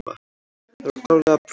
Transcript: Það var klárlega brot.